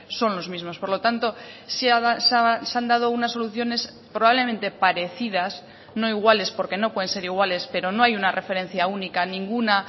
son los mismos por lo tanto se han dado unas soluciones probablemente parecidas no iguales porque no pueden ser iguales pero no hay una referencia única ninguna